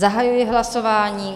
Zahajuji hlasování.